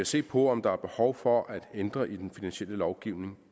se på om der er behov for at ændre i den finansielle lovgivning